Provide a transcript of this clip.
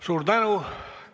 Suur tänu!